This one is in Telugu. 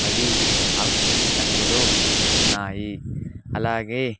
అవి ఆకుపచ్చని రంగులో ఉన్నాయి అలాగే.